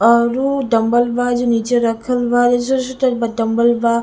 औरु डंबल बा नीचे रखल बा --